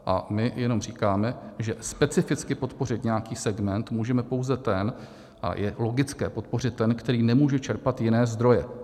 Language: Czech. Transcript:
A my jenom říkáme, že specificky podpořit nějaký segment můžeme pouze ten a je logické podpořit ten, který nemůže čerpat jiné zdroje.